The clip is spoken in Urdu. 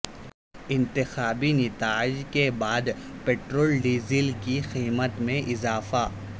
انتخابی نتائج کے بعد پٹرول ڈیزل کی قیمت میں اضافہ